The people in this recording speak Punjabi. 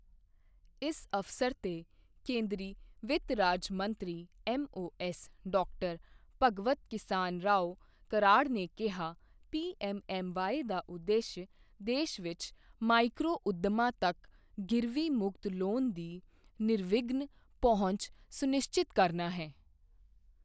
ਇਸ ਅਵਸਰ ਤੇ ਕੇਂਦਰੀ ਵਿੱਤ ਰਾਜ ਮੰਤਰੀ ਐੱਮਓਐੱਸ ਡਾ. ਭਗਵਤ ਕਿਸਾਨਰਾਓ ਕਰਾੜ ਨੇ ਕਿਹਾ, ਪੀਐੱਮਐੱਮਵਾਈ ਦਾ ਉਦੇਸ਼ ਦੇਸ਼ ਵਿੱਚ ਮਾਈਕਰੋ ਉੱਦਮਾਂ ਤੱਕ ਗਿਰਵੀ ਮੁਕਤ ਲੋਨ ਦੀ ਨਿਰਵਿਘਨ ਪਹੁੰਚ ਸੁਨਿਸ਼ਚਿਤ ਕਰਨਾ ਹੈ।